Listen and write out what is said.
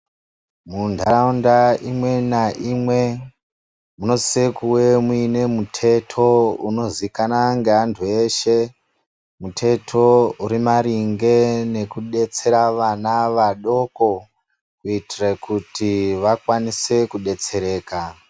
Mundaraunda imwe naimwe munosise kuwe muine muteto unozikane ngevantu veshe. Muteto urimaringe nekudetsera vana vadoko kuitire kuti vakwanise kudetsereka.